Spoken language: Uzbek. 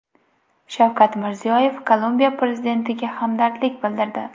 Shavkat Mirziyoyev Kolumbiya prezidentiga hamdardlik bildirdi.